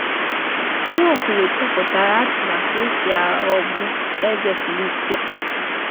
Nwaokolo chepụtara atụmatụ e si aghọgbu eze Filistia.